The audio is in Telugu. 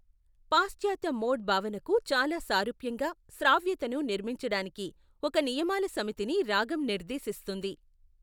పాశ్చాత్య మోడ్ భావనకు చాలా సారూప్యంగా, శ్రావ్యతను నిర్మించడానికి ఒక నియమాల సమితిని రాగం నిర్దేశిస్తుంది.